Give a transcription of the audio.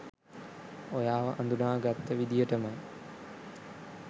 ඔයාව අඳුනා ගත්ත විදිහටමයි.